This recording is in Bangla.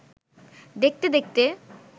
দেখতে দেখতে